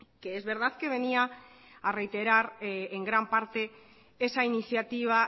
que es verdad que venía a reiterar en gran parte esa iniciativa